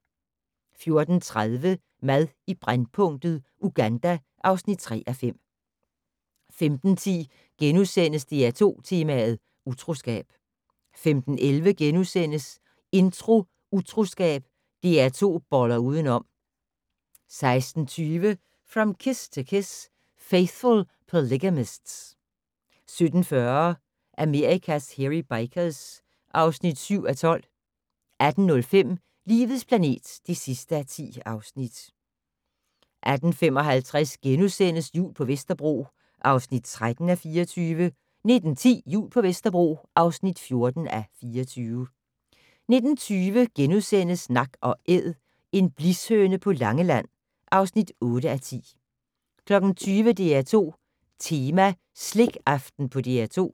14:30: Mad i brændpunktet: Uganda (3:5) 15:10: DR2 Tema: Utroskab * 15:11: Intro: Utroskab - DR2 boller udenom * 16:20: From Kiss To Kiss: Faithful Polygamists * 17:40: Amerikas Hairy Bikers (7:12) 18:05: Livets planet (10:10) 18:55: Jul på Vesterbro (13:24)* 19:10: Jul på Vesterbro (14:24) 19:20: Nak & Æd - en blishøne på Langeland (8:10)* 20:00: DR2 Tema: Slikaften på DR2